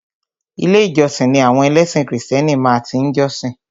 Ilé ìjósìn ni àwọn ẹlẹ́sìn krìstẹ́nì máa tí ń jọ́sìn.